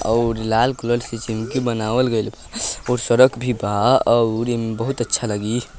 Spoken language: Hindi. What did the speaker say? --और लाल कलर से बनावल गई और सड़क बी भी वाह और बहुत अच्छा लगी।